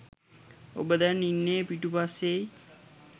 ඔබ දැන් ඉන්නේ පිටු පස්සේයි.